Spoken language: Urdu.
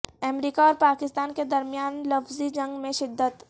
امریکہ اور پاکستان کے درمیان لفظی جنگ میں شدت